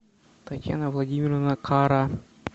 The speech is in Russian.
татьяна владимировна кара